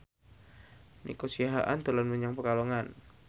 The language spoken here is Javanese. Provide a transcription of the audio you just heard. Nico Siahaan dolan menyang Pekalongan